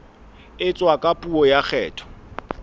etswa ka puo ya kgetho